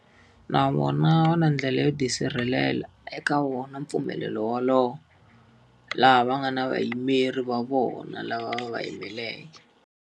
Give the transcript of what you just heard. Na vona va na ndlela yo tisirhelela eka wona mpfumelelo wolowo. Laha va nga na vayimeri va vona lava va va yimeleke.